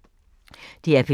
DR P2